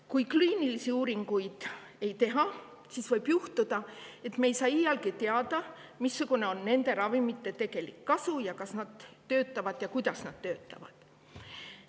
Kui kliinilisi uuringuid ei tehta, siis võib juhtuda, et me ei saa iialgi teada, missugune on nende ravimite tegelik kasu ja kas need töötavad või kuidas need töötavad.